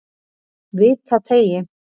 Vitateigi